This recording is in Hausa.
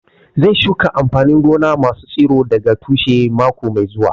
Zai shuka amfanin gona masu tsiro daga tushe mako mai zuwa